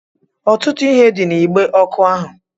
Ọtụtụ ihe dị n'igbe ọkụ ahụ